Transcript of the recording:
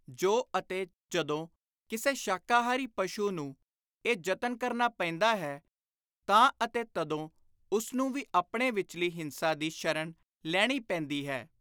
ਜੇ ਅਤੇ ਜਦੋਂ ਕਿਸੇ ਸ਼ਾਕਾਹਾਰੀ ਪਸ਼ੂ ਨੂੰ ਇਹ ਯਤਨ ਕਰਨਾ ਪੈਂਦਾ ਹੈ, ਤਾਂ ਅਤੇ ਤਦੋਂ ਉਸਨੂੰ ਵੀ ਆਪਣੇ ਵਿਚਲੀ ਹਿੰਸਾ ਦੀ ਸ਼ਰਣ ਲੈਣੀ ਪੈਂਦੀ ਹੈ।